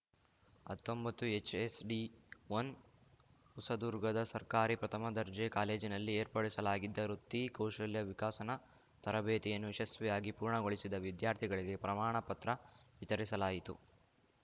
ಹತ್ತೊಂಬತ್ತುಹೆಚ್‌ಎಸ್‌ಡಿಒನ್ ಹೊಸದುರ್ಗದ ಸರ್ಕಾರಿ ಪ್ರಥಮ ದರ್ಜೆ ಕಾಲೇಜಿನಲ್ಲಿ ಏರ್ಪಡಿಸಲಾಗಿದ್ದ ವೃತ್ತಿ ಕೌಶಲ್ಯ ವಿಕಸನ ತರಬೇತಿಯನ್ನು ಯಶಸ್ವಿಯಾಗಿ ಪೂರ್ಣಗೊಳಿಸಿದ ವಿದ್ಯಾರ್ಥಿಗಳಿಗೆ ಪ್ರಮಾಣ ಪತ್ರ ವಿತರಿಸಲಾಯಿತು